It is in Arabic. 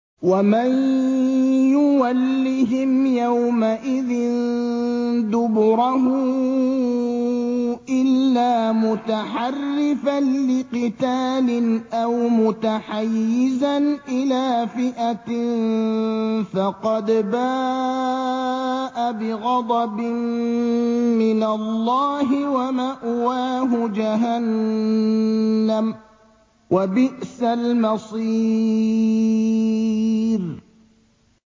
وَمَن يُوَلِّهِمْ يَوْمَئِذٍ دُبُرَهُ إِلَّا مُتَحَرِّفًا لِّقِتَالٍ أَوْ مُتَحَيِّزًا إِلَىٰ فِئَةٍ فَقَدْ بَاءَ بِغَضَبٍ مِّنَ اللَّهِ وَمَأْوَاهُ جَهَنَّمُ ۖ وَبِئْسَ الْمَصِيرُ